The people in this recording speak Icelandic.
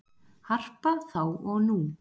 Harpa þá og nú